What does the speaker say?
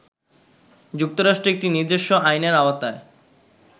যুক্তরাষ্ট্র একটি নিজস্ব আইনের আওতায়